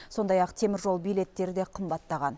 сондай ақ теміржол билеттері де қымбаттаған